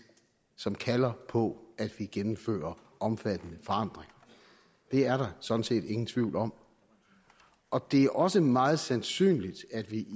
som kalder på at vi gennemfører omfattende forandringer det er der sådan set ingen tvivl om og det er også meget sandsynligt at vi